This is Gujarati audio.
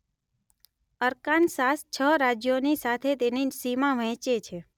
અરકાનસાસ છ રાજ્યોની સાથે તેની સીમા વહેંચે છે